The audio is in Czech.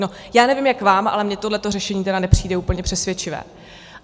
No já nevím jak vám, ale mně tohle řešení tedy nepřijde úplně přesvědčivé.